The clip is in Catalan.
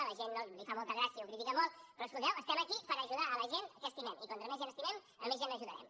a la gent li fa molta gràcia i ho critica molt però escolteu estem aquí per ajudar la gent que estimem i com més gent estimem més gent ajudarem